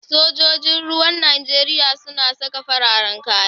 Sojoji ruwan Nijeriya suna saka fararan kaya.